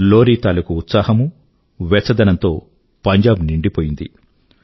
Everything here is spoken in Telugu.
లోరీ తాలూకూ ఉత్సాహమూ వెచ్చదనంతో పంజాబ్ నిండిపోయింది